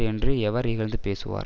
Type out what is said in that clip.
என்று எவர் இகழ்ந்து பேசுவார்